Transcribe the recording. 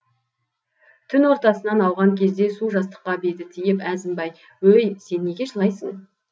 түн ортасынан ауған кезде су жастыққа беті тиіп әзімбай өй сен неге жылайсың